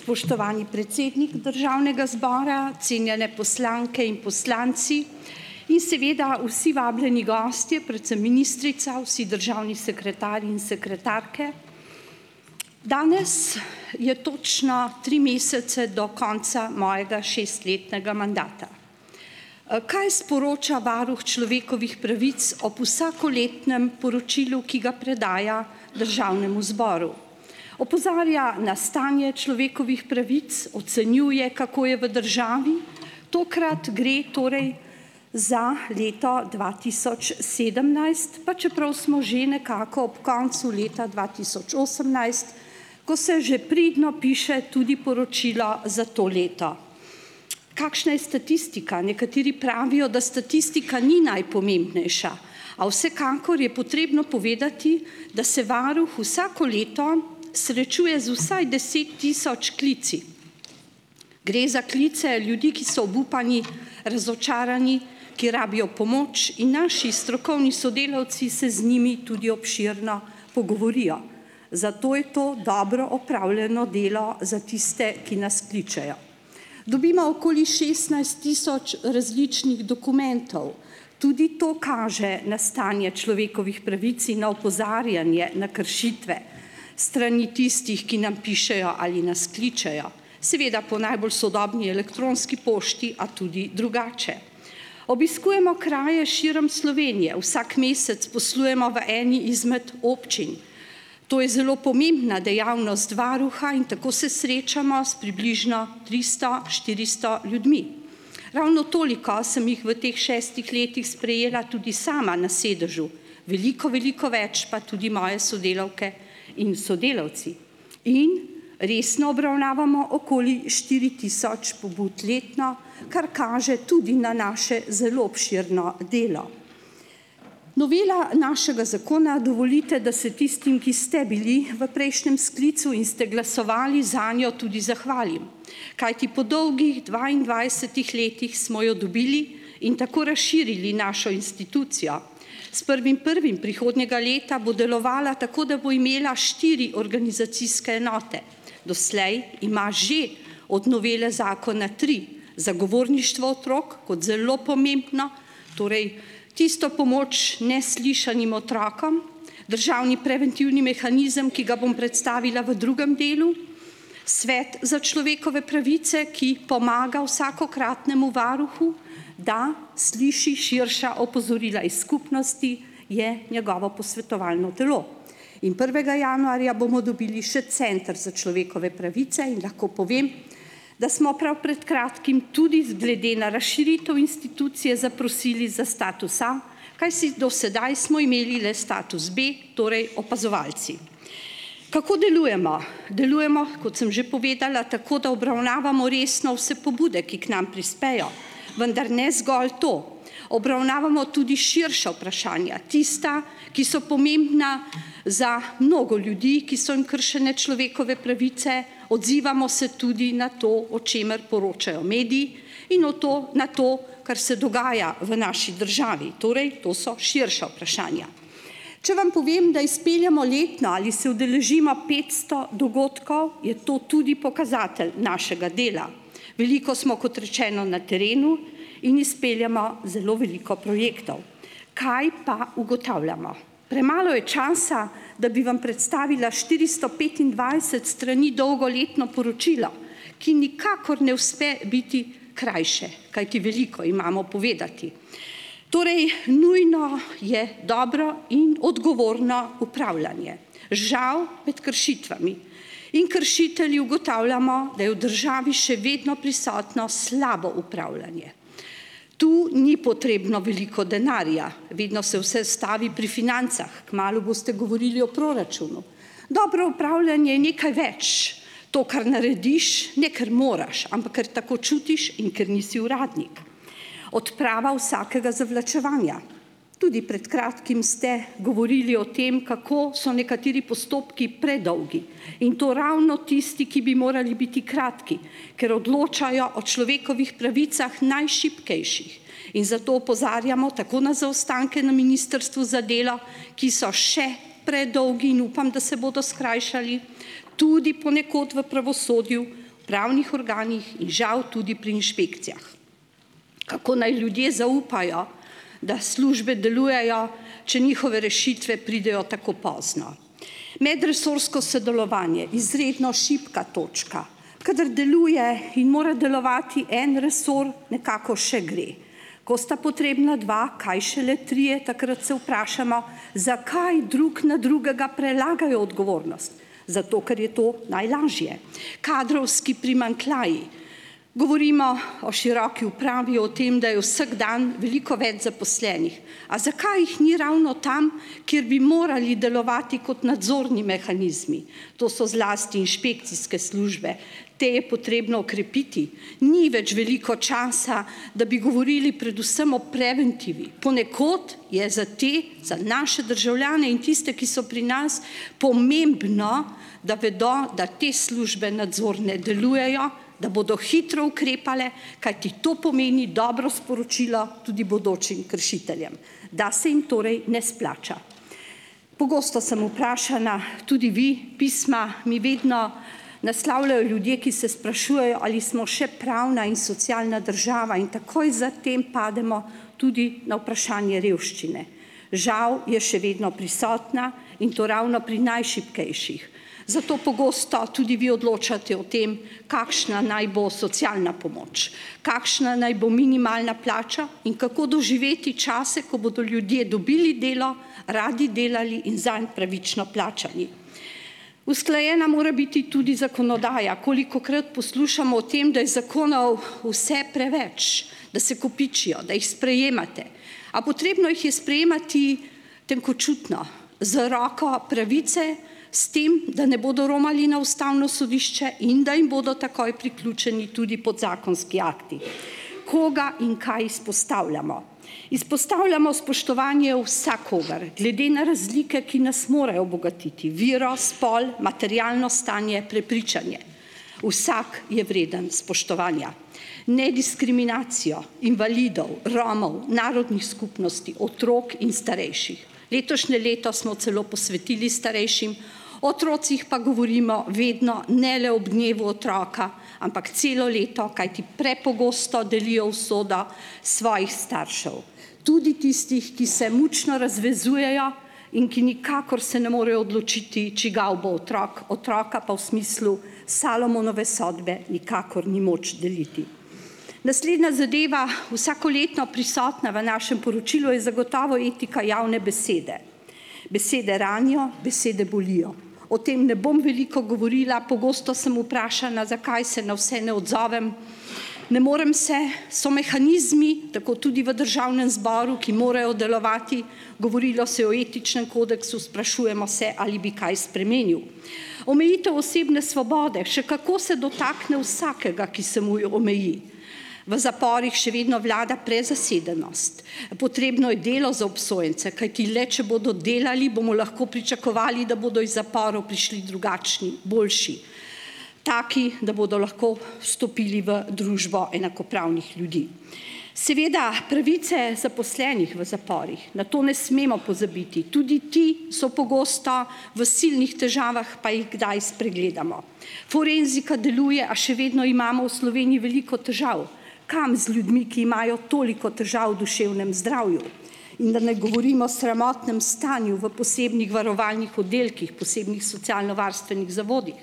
Spoštovani predsednik Državnega zbora, cenjene poslanke in poslanci, in seveda vsi vabljeni gostje, predvsem ministrica, vsi državni sekretarji in sekretarke. Danes je točno tri mesece do konca mojega šestletnega mandata. Kaj sporoča varuh človekovih pravic ob vsakoletnem poročilu, ki ga predaja Državnemu zboru: opozarja na stanje človekovih pravic, ocenjuje, kako je v državi. Tokrat gre torej za leto dva tisoč sedemnajst, pa čeprav smo že nekako ob koncu leta dva tisoč osemnajst, ko se že pridno piše tudi poročilo za to leto. Kakšna je statistika. Nekateri pravijo, da statistika ni najpomembnejša, a vsekakor je potrebno povedati, da se varuh vsako leto srečuje z vsaj deset tisoč klici. Gre za klice ljudi, ki so obupani, razočarani, ki rabijo pomoč, in naši strokovni sodelavci se z njimi tudi obširno pogovorijo; zato je to dobro opravljeno delo za tiste, ki nas kličejo. Dobimo okoli šestnajst tisoč različnih dokumentov. Tudi to kaže na stanje človekovih pravic in na opozarjanje na kršitve s strani tistih, ki nam pišejo ali nas kličejo, seveda po najbolj sodobni elektronski pošti, a tudi drugače. Obiskujemo kraje širom Slovenije. Vsak mesec poslujemo v eni izmed občin. To je zelo pomembna dejavnost varuha in tako se srečamo s približno tristo, štiristo ljudmi. Ravno toliko sem jih v teh šestih letih sprejela tudi sama na sedežu, veliko, veliko več pa tudi moje sodelavke in sodelavci. In resno obravnavamo okoli štiri tisoč pobud letno, kar kaže tudi na naše zelo obširno delo. Novela našega zakona, dovolite, da se tistim, ki ste bili v prejšnjem sklicu in ste glasovali zanjo, tudi zahvalim, kajti po dolgih dvaindvajsetih letih smo jo dobili in tako razširili našo institucijo. S prvim prvim prihodnjega leta bo delovala tako, da bo imela štiri organizacijske enote. Doslej ima že od novele zakona tri: zagovorništvo otrok, kot zelo pomembno, torej tisto pomoč neslišanim otrokom; državni preventivni mehanizem, ki ga bom predstavila v drugem delu; Svet za človekove pravice, ki pomaga vsakokratnemu varuhu, da sliši širša opozorila iz skupnosti, je njegovo posvetovalno telo. In prvega januarja bomo dobili še Center za človekove pravice. In lahko povem, da smo prav pred kratkim tudi z glede na razširitev institucije zaprosili za status A, kajti do sedaj smo imeli le status B, torej opazovalci. Kako delujemo? Delujemo, kot sem že povedala, tako, da obravnavamo resno vse pobude, ki k nam prispejo, vendar ne zgolj to. Obravnavamo tudi širša vprašanja, tista, ki so pomembna za mnogo ljudi, ki so jim kršene človekove pravice, odzivamo se tudi na to, o čemer poročajo mediji in o to, na to, kar se dogaja v naši državi. Torej, to so širša vprašanja. Če vam povem, da izpeljemo letno ali se udeležimo petsto dogodkov, je to tudi pokazatelj našega dela. Veliko smo, kot rečeno, na terenu in izpeljemo zelo veliko projektov. Kaj pa ugotavljamo? Premalo je časa, da bi vam predstavila štiristo petindvajset strani dolgo letno poročilo, ki nikakor ne uspe biti krajše, kajti veliko imamo povedati. Torej nujno je dobro in odgovorno upravljanje. Žal med kršitvami. In kršitelji, ugotavljamo, da je v državi še vedno prisotno slabo upravljanje. Tu ni potrebno veliko denarja, vedno se vse stavi pri financah. Kmalu boste govorili o proračunu. Dobro upravljanje je nekaj več, to kar narediš, ne ker moraš, ampak ker tako čutiš in ker nisi uradnik. Odprava vsakega zavlačevanja. Tudi pred kratkim ste govorili o tem, kako so nekateri postopki predolgi in to ravno tisti, ki bi morali biti kratki, ker odločajo o človekovih pravicah najšibkejših, in zato opozarjamo tako na zaostanke na Ministrstvu za delo, ki so še predolgi, in upam, da se bodo skrajšali. Tudi ponekod v pravosodju, pravnih organih in žal tudi pri inšpekcijah. Kako naj ljudje zaupajo, da službe delujejo, če njihove rešitve pridejo tako pozno? Medresorsko sodelovanje, izredno šibka točka. Kadar deluje in mora delovati en resor, nekako še gre. Ko sta potrebna dva, kaj šele trije, takrat se vprašamo, zakaj drug na drugega prelagajo odgovornost? Zato, ker je to najlažje. Kadrovski primanjkljaji. Govorimo o široki upravi, o tem, da je vsak dan veliko več zaposlenih. A zakaj jih ni ravno tam, kjer bi morali delovati kot nadzorni mehanizmi? To so zlasti inšpekcijske službe. Potem je potrebno okrepiti. Ni več veliko časa, da bi govorili predvsem o preventivi. Ponekod je za te, za naše državljane in tiste, ki so pri nas, pomembno, da vedo, da te službe nadzorne delujejo, da bodo hitro ukrepale, kajti to pomeni dobro sporočilo tudi bodočim kršiteljem. Da se jim torej ne splača. Pogosto sem vprašana, tudi vi, pisma mi vedno naslavljajo ljudje, ki se sprašujejo, ali smo še pravna in socialna država in takoj za tem pademo tudi na vprašanje revščine. Žal je še vedno prisotna in to ravno pri najšibkejših. Zato pogosto tudi vi odločate o tem, kakšna naj bo socialna pomoč. Kakšna naj bo minimalna plača in kako doživeti čase, ko bodo ljudje dobili delo, radi delali in zanj pravično plačani. Usklajena mora biti tudi zakonodaja. Kolikokrat poslušamo o tem, da je zakonov vse preveč, da se kopičijo, da jih sprejemate. A potrebno jih je sprejemati tenkočutno, z roko pravice, s tem, da ne bodo romali na Ustavno sodišče in da jim bodo takoj priključeni tudi podzakonski akti. Koga in kaj izpostavljamo? Izpostavljamo spoštovanje vsakogar, glede na razlike, ki nas morajo bogatiti. Vero, spol, materialno stanje, prepričanje. Vsak je vreden spoštovanja. Nediskriminacijo invalidov, Romov, narodnih skupnosti, otrok in starejših. Letošnje leto smo celo posvetili starejšim, o otrocih pa govorimo vedno, ne le ob dnevu otroka, ampak celo leto, kajti prepogosto delijo usodo svojih staršev, tudi tistih, ki se mučno razvezujejo in ki nikakor se ne morejo odločiti, čigav bo otrok, otroka pa v smislu Salomonove sodbe nikakor ni moč deliti. Naslednja zadeva, vsakoletno prisotna v našem poročilu, je zagotovo etika javne besede. Besede ranijo, besede bolijo. O tem ne bom veliko govorila. Pogosto sem vprašana, zakaj se na vse ne odzovem? Ne morem se, so mehanizmi, tako tudi v Državnem zboru, ki morajo delovati. Govorilo se je o etičnem kodeksu, sprašujemo se, ali bi kaj spremenil. Omejitev osebne svobode še kako se dotakne vsakega, ki se mu jo omeji. V zaporih še vedno vlada prezasedenost. Potrebno je delal za obsojence, kajti le če bodo delali, bomo lahko pričakovali, da bodo iz zaporov prišli drugačni, boljši, taki, da bodo lahko vstopili v družbo enakopravnih ljudi. Seveda pravice zaposlenih v zaporih, na to ne smemo pozabiti. Tudi ti so pogosto v silnih težavah, pa jih kdaj spregledamo. Forenzika deluje, a še vedno imamo v Sloveniji veliko težav, kam z ljudmi, ki imajo toliko težav v duševnem zdravju. In da ne govorim o sramotnem stanju v posebnih varovanih oddelkih posebnih socialnovarstvenih zavodih.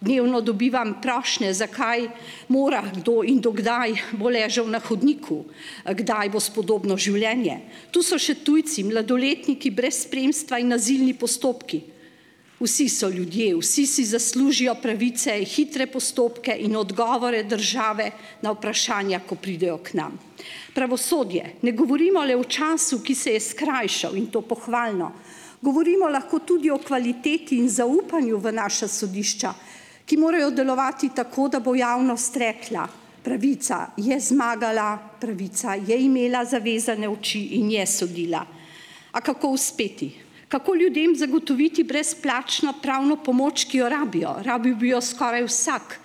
Dnevno dobivam prošnje, zakaj mora kdo in do kdaj bo ležal na hodniku, kdaj bo spodobno življenje. Tu so še tujci, mladoletniki brez spremstva in azilni postopki. Vsi so ljudje, vsi si zaslužijo pravice, hitre postopke in odgovore države na vprašanja, ko pridejo k nam. Pravosodje, ne govorimo le o času, ki se je skrajšal - in to pohvalno - govorimo lahko tudi o kvaliteti in zaupanju v naša sodišča, ki morajo delovati tako, da bo javnost rekla, pravica je zmagala, pravica je imela zavezane oči in je sodila. A kako uspeti? Kako ljudem zagotoviti brezplačno pravno pomoč, ki jo rabijo? Rabil bi jo skoraj vsak.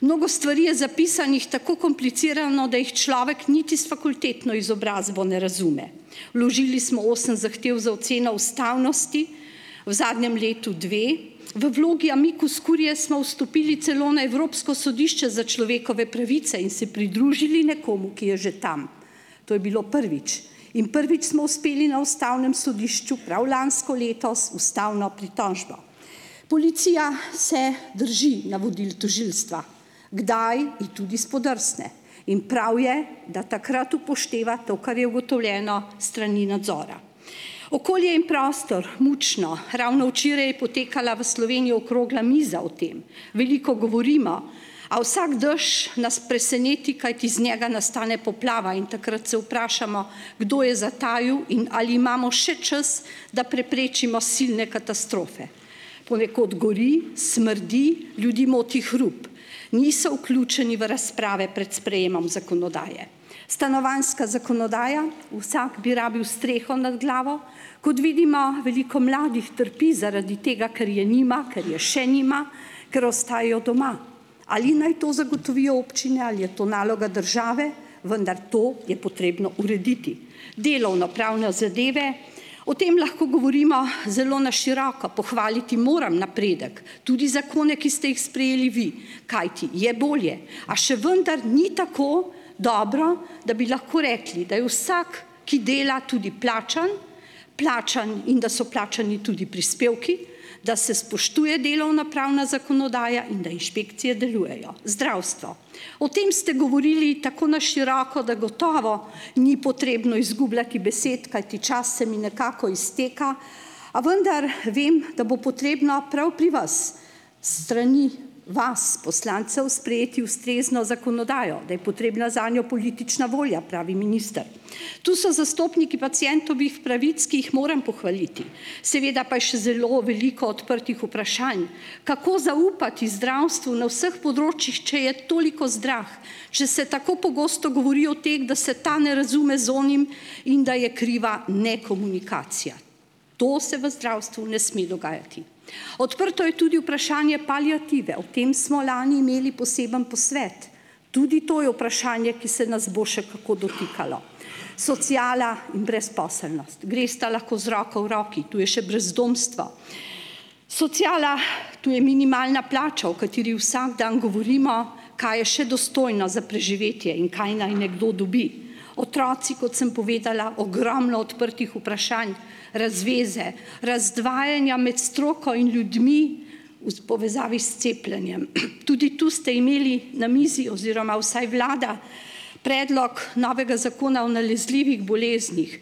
Mnogo stvari je zapisanih tako komplicirano, da jih človek niti s fakultetno izobrazbo ne razume. Vložili smo osem zahtev za oceno ustavnosti, v zadnjem letu dve, v vlogi amicus curiae smo vstopili celo na Evropsko sodišče za človekove pravice in se pridružili nekomu, ki je že tam. To je bilo prvič in prvič smo uspeli na Ustavnem sodišču prav lansko leto z ustavno pritožbo. Policija se drži navodil tožilstva, kdaj ji tudi spodrsne, in prav je, da takrat upošteva to, kar je ugotovljeno strani nadzora. Okolje in prostor mučno, ravno včeraj je potekala v Sloveniji okrogla miza o tem. Veliko govorimo, a vsak dež nas preseneti, kajti z njega nastane poplava. In takrat se vprašamo, kdo je zatajil in ali imamo še čas, da preprečimo silne katastrofe. Ponekod gori, smrdi, ljudi moti hrup. Niso vključeni v razprave pred sprejemom zakonodaje. Stanovanjska zakonodaja, vsak bi rabil streho nad glavo. Kot vidimo, veliko mladih trpi zaradi tega, ker je nima, ker je še nima, ker ostajajo doma. Ali naj to zagotovijo občine ali je to naloga države, vendar to je potrebno urediti. Delovnopravne zadeve, o tem lahko govorimo zelo na široko. Pohvaliti moram napredek. Tudi zakone, ki ste jih sprejeli vi, kajti je bolje, a še vendar ni tako dobro, da bi lahko rekli, da je vsak, ki dela, tudi plačan, plačan in da so plačani tudi prispevki, da se spoštuje delovnopravna zakonodaja in da inšpekcije delujejo. Zdravstvo, o tem ste govorili tako na široko, da gotovo ni potrebno izgubljati besed, kajti čas se mi nekako izteka, a vendar vem, da bo potrebno prav pri vas, s strani vas, poslancev, sprejeti ustrezno zakonodajo, da je potrebna zanjo politična volja, pravi minister. Tu so zastopniki pacientovih pravic, ki jih moram pohvaliti. Seveda pa je še zelo veliko odprtih vprašanj, kako zaupati zdravstvu na vseh področjih, če je toliko zdrah, če se tako pogosto govori o teh, da se ta ne razume z onim in da je kriva nekomunikacija. To se v zdravstvu ne sme dogajati. Odprto je tudi vprašanje paliative. O tem smo lani imeli poseben posvet. Tudi to je vprašanje, ki se nas bo še kako dotikalo. Sociala in brezposelnost gresta lahko z roko v roki, tu je še brezdomstvo. Sociala, tu je minimalna plača, o kateri vsak dan govorimo, kaj je še dostojno za preživetje in kaj naj nekdo dobi. Otroci, kot sem povedala, ogromno odprtih vprašanj, razveze, razdvajanja med stroko in ljudmi v povezavi s cepljenjem. Tudi to ste imeli na mizi oziroma vsaj vlada, predlog novega zakona o nalezljivih boleznih.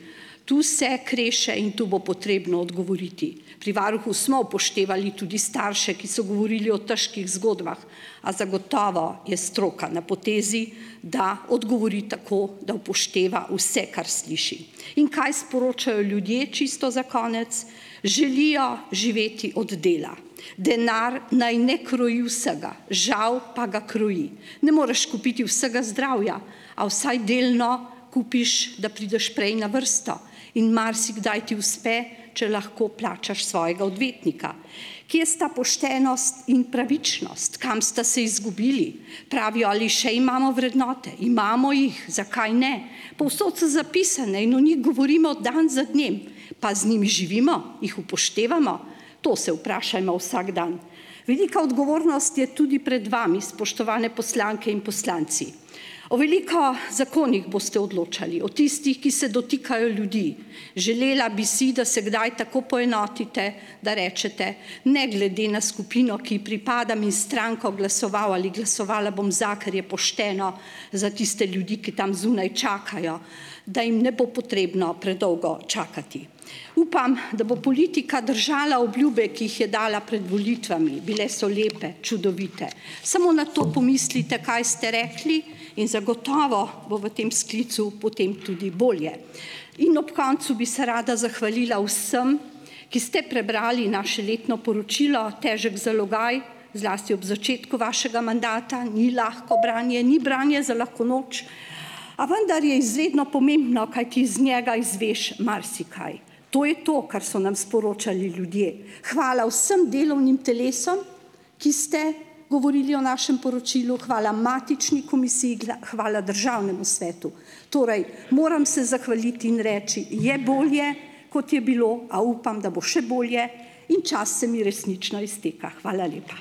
Tu se kreše in tu bo potrebno odgovoriti. Pri varuhu smo upoštevali tudi starše, ki so govorili o težkih zgodbah, a zagotovo je stroka na potezi, da odgovori tako, da upošteva vse, kar sliši. In kaj sporočajo ljudje, čisto za konec. Želijo živeti od dela. Denar naj ne kroji vsega. Žal pa ga kroji. Ne moreš kupiti vsega zdravja, a vsaj delno kupiš, da prideš prej na vrsto, in marsikdaj ti uspe, če lahko plačaš svojega odvetnika. Kje sta poštenost in pravičnost, kam sta se izgubili. Pravijo, ali še imamo vrednote. Imamo jih, zakaj ne. Povsod so zapisane in o njih govorimo dan za dnem. Pa z njim živimo? Jih upoštevamo? To se vprašajmo vsak dan. Velika odgovornost je tudi pred vami, spoštovane poslanke in poslanci. O veliko zakonih boste odločali, o tistih, ki se dotikajo ljudi. Želela bi si, da se kdaj tako poenotite, da rečete, ne glede na skupino, ki ji pripadam in stranko, glasoval ali glasovala bom za, ker je pošteno za tiste ljudi, ki tam zunaj čakajo, da jim ne bo potrebno predolgo čakati. Upam, da bo politika držala obljube, ki jih je dala pred volitvami. Bile so lepe, čudovite. Samo na to pomislite, kaj ste rekli, in zagotovo bo v tem sklicu potem tudi bolje. In ob koncu bi se rada zahvalila vsem, ki ste prebrali naše letno poročilo, težek zalogaj, zlasti ob začetku vašega mandata, ni lahko branje, ni branje za lahko noč, a vendar je izredno pomembno, kajti iz njega izveš marsikaj. To je to, kar so nam sporočali ljudje. Hvala vsem delovnim telesom, ki ste govorili o našem poročilu, hvala matični komisiji, hvala Državnemu svetu. Torej, moram se zahvaliti in reči, je bolje, kot je bilo, a upam, da bo še bolje, in čas se mi resnično izteka. Hvala lepa.